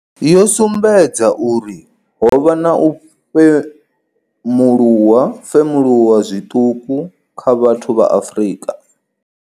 Yo sumbedza uri ho vha na u femuluwa zwiṱuku kha vhathu vha Afrika.